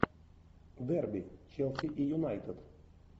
дерби челси и юнайтед